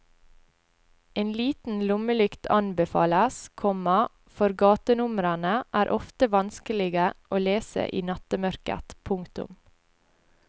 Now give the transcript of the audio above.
En liten lommelykt anbefales, komma for gatenumrene er ofte vanskelige å lese i nattemørket. punktum